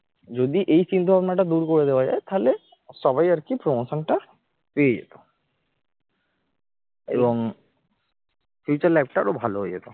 যদি এই চিন্তা ভাবনাটা দূর করে দেওয়া যায় তাহলে সবাই আর কি promotion টা পেয়ে যেতাম এবং future life টা আরো ভালো হয়ে যেত